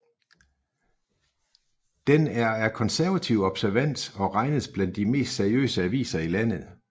Den er af konservativ observans og regnes blandt de mest seriøse aviser i landet